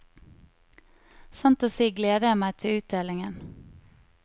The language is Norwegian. Sant å si gleder jeg meg til utdelingen.